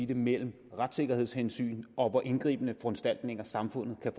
det mellem retssikkerhedshensyn og hvor indgribende foranstaltninger samfundet kan